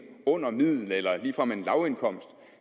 under middel eller ligefrem en lavindkomst